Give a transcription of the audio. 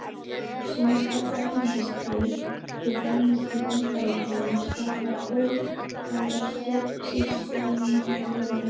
Sums staðar erlendis, til dæmis í Bandaríkjunum, starfa óháðar stjórnsýslueiningar innan lögreglunnar.